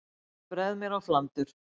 Ég bregð mér á flandur.